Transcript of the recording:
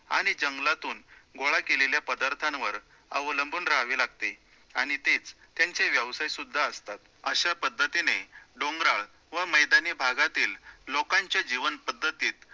आणि जंगलातून गोळा केलेल्या पदार्थांवर अवलंबून राहावे लागते आणि तेच त्यांचे व्यवसाय सुद्धा असतात, अश्या पद्धतीने डोंगराळ व मैदानी भागातील लोकांच्या जीवन पद्धतीत